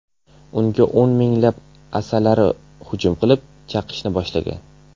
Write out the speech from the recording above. Unga o‘n minglab asalari hujum qilib, chaqishni boshlagan.